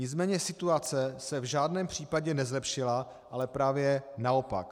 Nicméně situace se v žádném případě nezlepšila, ale právě naopak.